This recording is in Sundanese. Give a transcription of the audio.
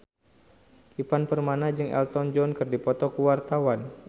Ivan Permana jeung Elton John keur dipoto ku wartawan